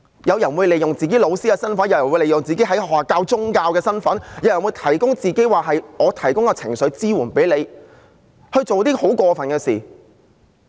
有人會利用自己當老師的身份，有人會利用自己在學校教授宗教的身份，有人會聲稱為你提供情緒支援而做出很過分的事。